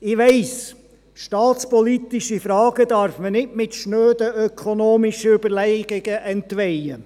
Ich weiss, staatspolitische Fragen darf man nicht mit schnöden ökonomischen Überlegungen entweihen.